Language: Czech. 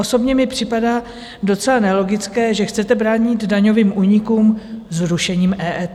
Osobně mi připadá docela nelogické, že chcete bránit daňovým únikům zrušením EET.